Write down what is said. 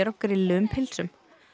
grilluðum pylsum